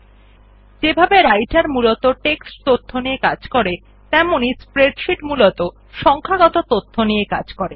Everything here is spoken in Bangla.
রাইটের যেভাবে মূলত টেক্সট তথ্য দিয়ে কাজ করে তেমনি স্প্রেডশীট মূলত সংখ্যাগত তথ্য নিয়ে কাজ করে